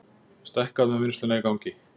Stækkað með vinnsluna í gangi